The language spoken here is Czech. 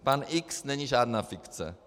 Pan X není žádná fikce.